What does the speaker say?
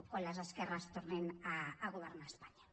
quan les esquerres tornin a governar espanya